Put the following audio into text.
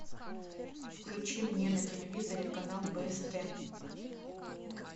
включи мне на телевизоре канал бст